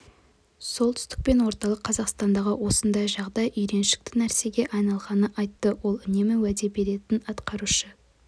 солтүстік пен орталық қазақстандағы осындай жағдай үйреншікті нәрсеге айналғанын айтты ол үнемі уәде беретін атқарушы